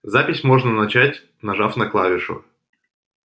запись можно начать нажав на клавишу